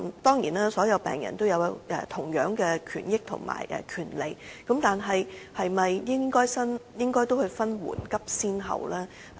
當然，所有病人皆享有同樣的權益，但政府是否應該分緩急先後呢？